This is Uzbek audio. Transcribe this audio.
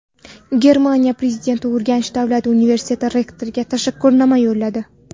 Germaniya prezidenti Urganch davlat universiteti rektoriga tashakkurnoma yo‘lladi.